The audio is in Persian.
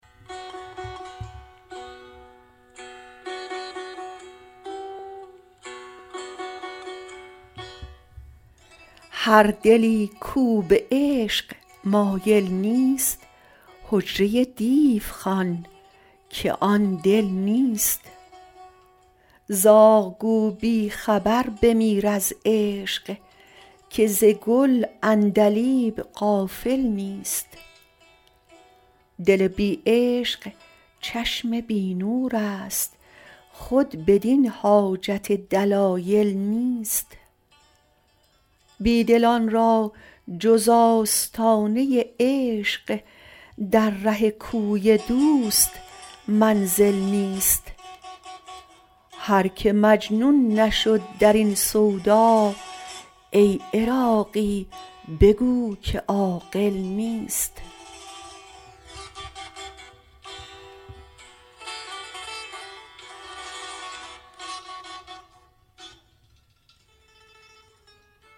هر دلی کو به عشق مایل نیست حجره دیو خوان که آن دل نیست زاغ گو بی خبر بمیر از عشق که ز گل عندلیب غافل نیست دل بی عشق چشم بی نور است خود بدین حاجت دلایل نیست بیدلان را جز آستانه عشق در ره کوی دوست منزل نیست هر که مجنون نشد درین سودا ای عراقی بگو که عاقل نیست